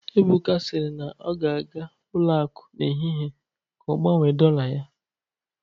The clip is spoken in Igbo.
Ebuka sịrị na ọ ga-aga ụlọ akụ n'ehihie ka ọ gbanwee dollar ya